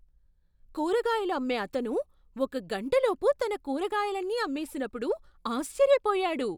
కూరగాయలు అమ్మే అతను ఒక గంటలోపు తన కూరగాయలన్నీ అమ్మేసినప్పుడు ఆశ్చర్యపోయాడు.